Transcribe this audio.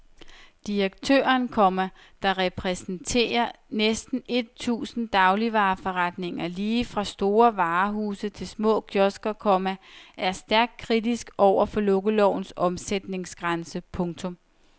Direktøren, komma der repræsenterer næsten et tusind dagligvareforretninger lige fra store varehuse til små kiosker, komma er stærkt kritisk over for lukkelovens omsætningsgrænse. punktum